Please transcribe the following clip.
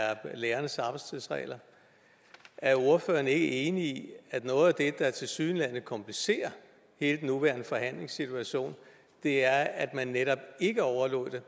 er lærernes arbejdstidsregler er ordføreren ikke enig i at noget af det der tilsyneladende komplicerer hele den nuværende forhandlingssituation er at man netop ikke overlod det